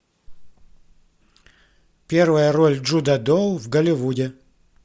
первая роль джуда доу в голливуде